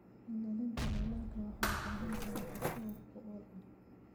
Ilaalinta dalagga waxay u baahan tahay qorshe wax ku ool ah.